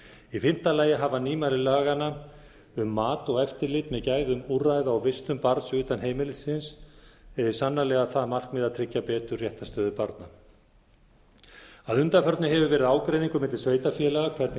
í fimmta lagi hafa nýmæli laganna um mat og eftirlit með gæðum úrræða og vistun barns utan heimilisins sannarlega það markmið að tryggja betur réttarstöðu barna að undanförnu hefur verið ágreiningur milli sveitarfélaga hvernig